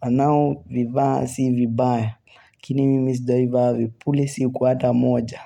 wanao vivaasivibaya, lakini mimi sijawaivaa vipuli siku ata moja.